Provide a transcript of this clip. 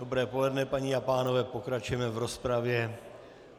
Dobré poledne, paní a pánové, pokračujeme v rozpravě.